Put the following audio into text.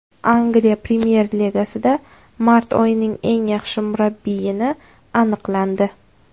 Angliya premyer ligasida mart oyining eng yaxshi murabbiyini aniqlandi .